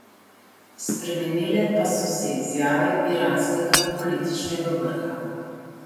Spremenile pa so se izjave iranskega političnega vrha.